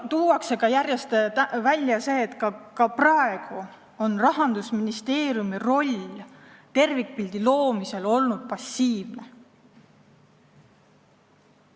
Tuuakse järjest välja, et ka praegu on Rahandusministeeriumi roll tervikpildi loomisel olnud passiivne.